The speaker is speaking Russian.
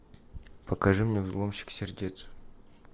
покажи мне взломщик сердец